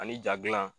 Ani ja gilan